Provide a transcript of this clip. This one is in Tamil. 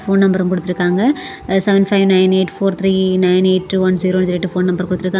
போன் நம்பர் குடுத்துருக்காங்க seven five nine eight four three nine eight one ஜீரோனு சொல்லிட்டு ஃபோன் நம்பர் குடுத்துருக்காங்க.